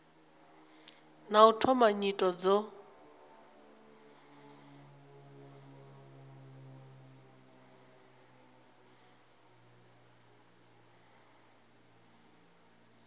na u thoma nyito dzo